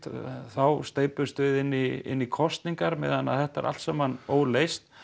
þá steypumst við inn í inn í kosningar meðan þetta er allt saman óleyst